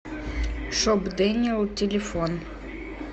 шоп дэниэл телефон